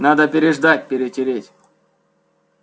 надо переждать перетереть